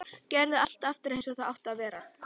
Gerði allt aftur eins og það átti að vera.